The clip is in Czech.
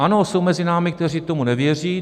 Ano, jsou mezi námi , kteří tomu nevěří.